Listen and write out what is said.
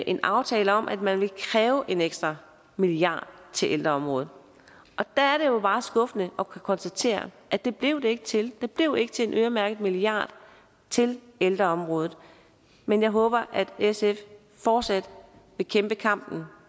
en aftale om at man ville kræve en ekstra milliard til ældreområdet og der er det jo bare skuffende at konstatere at det blev det ikke til det blev ikke til en øremærket milliard til ældreområdet men jeg håber at sf fortsat vil kæmpe kampen